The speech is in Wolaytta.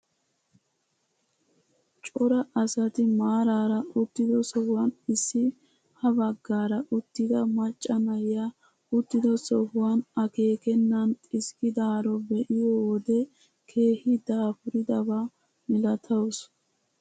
Cora asati maarara uttido sohuwaan isi ha baggaara uttida macca na'iyaa uttido sohuwaan akeekennan xiskkidaaro be'iyoo wode keehi daapuridaba milatawus.